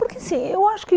Porque, assim, eu acho que...